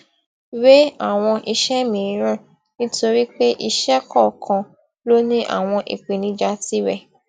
wé àwọn iṣé mìíràn nítorí pé iṣé kòòkan ló ní àwọn ìpèníjà tirè